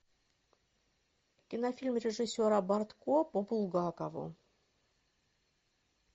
кинофильм режиссера бортко по булгакову